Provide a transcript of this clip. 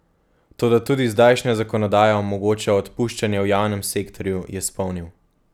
Toda tudi zdajšnja zakonodaja omogoča odpuščanje v javnem sektorju, je spomnil.